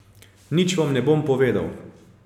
Nič vam ne bom povedal.